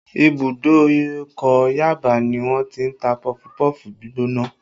Ìbùdókọ̀ Yaba ni wọ́n ti ń ta pọfupọ́ọ̀fù gbígbóná